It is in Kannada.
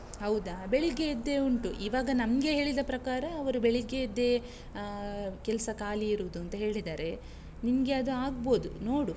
ಹೌದಾ, ಬೆಳಿಗ್ಗೆಯದ್ದೇ ಉಂಟು, ಈವಾಗ ನಮ್ಗೆ ಹೇಳಿದ ಪ್ರಕಾರ, ಅವರು ಬೆಳಿಗ್ಗೆಯದ್ದೇ ಆಹ್ ಕೆಲ್ಸ ಖಾಲಿ ಇರುದೂಂತ ಹೇಳಿದ್ದಾರೆ, ನಿಂಗೆ ಅದು ಆಗಬೋದು, ನೋಡು.